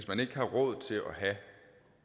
man ikke har råd til at have